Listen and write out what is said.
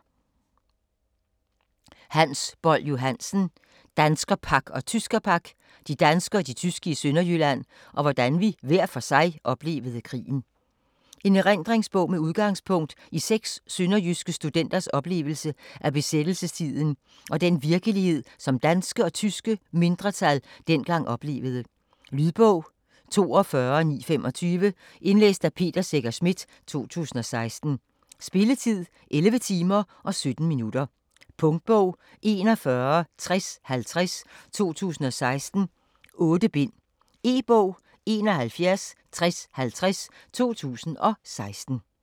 Boll-Johansen, Hans: Danskerpak og tyskerpak: de danske og de tyske i Sønderjylland - og hvordan vi hver for sig oplevede krigen En erindringsbog med udgangspunkt i seks sønderjyske studenters oplevelse af besættelsestiden og den virkelighed, som danske og store tyske mindretal dengang oplevede. Lydbog 42925 Indlæst af Peter Secher Schmidt, 2016. Spilletid: 11 timer, 17 minutter. Punktbog 416050 2016. 8 bind. E-bog 716050 2016.